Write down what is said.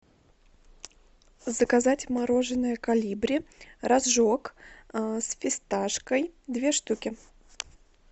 заказать мороженое колибри рожок с фисташкой две штуки